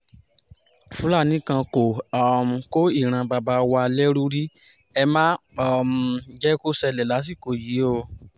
fúlàní kan kò um kó ìran bàbá wa lẹ́rú rí ẹ má um jẹ́ kó ṣẹlẹ̀ lásìkò yìí o